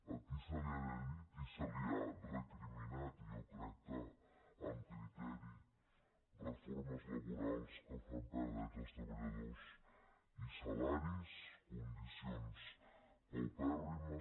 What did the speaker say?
a qui se li ha dit i se li ha recriminat i jo crec que amb criteri reformes laborals que fan perdre drets als treballadors i salaris condicions paupèrrimes